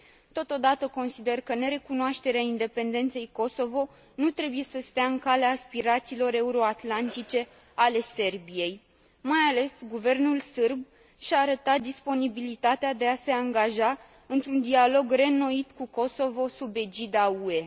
Totodată, consider că nerecunoașterea independenței Kosovo nu trebuie să stea în calea aspirațiilor euroatlantice ale Serbiei. Mai ales, guvernul sârb și a arătat disponibilitatea de a se angaja într un dialog reînnoit cu Kosovo sub egida UE.